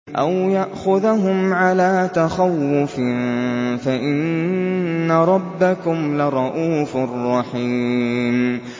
أَوْ يَأْخُذَهُمْ عَلَىٰ تَخَوُّفٍ فَإِنَّ رَبَّكُمْ لَرَءُوفٌ رَّحِيمٌ